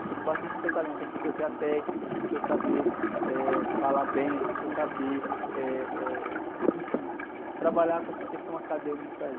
Porque não basta a gente ter o talento, a gente precisa ter a técnica, a gente precisa saber, eh, falar bem, a gente precisa saber, eh, eh, enfim, trabalhar com essa questão acadêmica aí.